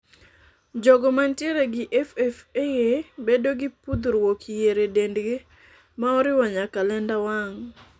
Jogo mantiere gi FFA bedo gi puthruok yier e dendgi ma oriwo nyaka lenda wang'.